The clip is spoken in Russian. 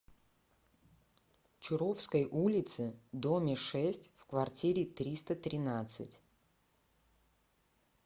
чуровской улице доме шесть в квартире триста тринадцать